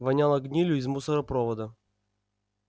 воняло гнилью из мусоропровода